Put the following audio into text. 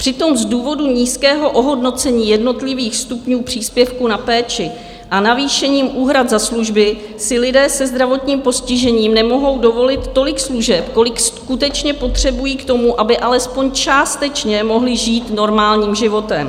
Přitom z důvodu nízkého ohodnocení jednotlivých stupňů příspěvku na péči a navýšením úhrad za služby si lidé se zdravotním postižením nemohou dovolit tolik služeb, kolik skutečně potřebují k tomu, aby alespoň částečně mohli žít normálním životem.